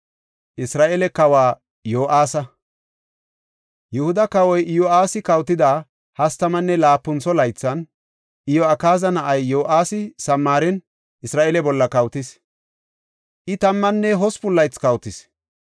Yihuda kawoy Iyo7aasi kawotida hastamanne laapuntho laythan, Iyo7akaaza na7ay Yo7aasi Samaaren Isra7eele bolla kawotis; I tammanne usupun laythi kawotis.